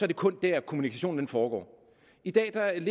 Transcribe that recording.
det kun der kommunikationen foregår i dag er